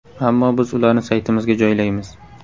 Ammo biz ularni saytimizga joylaymiz.